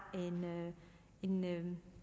en